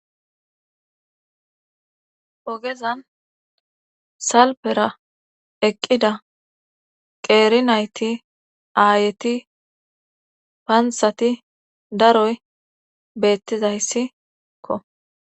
ogezan salpera eqqida qeeri nayti aayeti paanthati daroy beettizayssikko